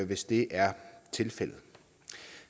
hvis det er tilfældet